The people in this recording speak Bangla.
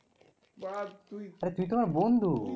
আরে তুই তো আমার বন্ধু.